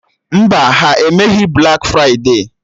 Mba, ha emeghị blak fride